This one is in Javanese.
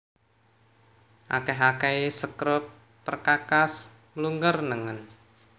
Akèh akèhé sekrup perkakas mlungker nengen